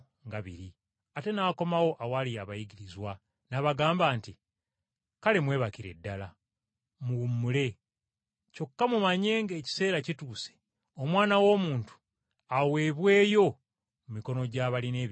Ate n’akomawo awali abayigirizwa n’abagamba nti, “Kale mwebakire ddala, muwummule. Kyokka mumanye ng’ekiseera kituuse Omwana w’Omuntu aweebweyo mu mikono gy’abalina ebibi.